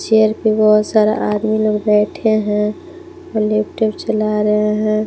Chair पे बहुत सारा आदमी लोग बैठे हैं और लैपटॉप चला रहे हैं।